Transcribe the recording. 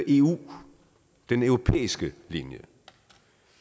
eu den europæiske linje